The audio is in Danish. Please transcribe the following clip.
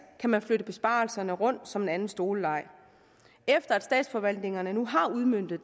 kan man flytte besparelserne rundt som i en anden stoleleg efter at statsforvaltningerne har udmøntet